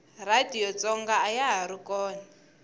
radiyo tsonga ayahari kona